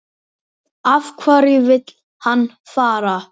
Af hverju vill hann fara?